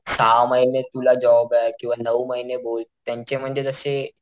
बघ सहा महिने तुला जॉबे किंवा नऊ महिने बोल त्यांचे म्हणजे जशे,